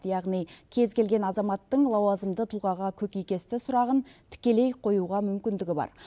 яғни кез келген азаматтың лауазымды тұлғаға көкейкесті сұрағын тікелей қоюға мүмкіндігі бар